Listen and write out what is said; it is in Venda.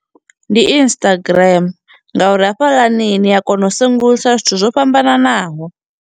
Ndi Instagram ngauri hafhaḽani ni a kona u sengulusa zwithu zwo fhambananaho.